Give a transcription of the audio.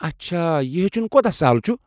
اچھا، یہِ ہیٚچھُن کوتاہ سہل چھُ؟